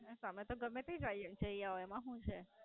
આમ તો ગમે એમ જાય જય આવ્યા એમાં શું છે.